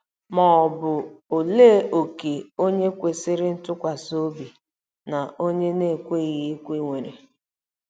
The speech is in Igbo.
Ma ọ bụ olee òkè onye kwesịrị ntụkwasị obi na onye na-ekweghị ekwe nwere?